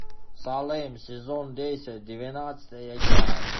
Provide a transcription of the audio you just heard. салем сезон десять двенадцатая часть